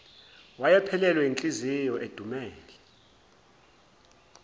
wayephelelwe yinhliziyo edumele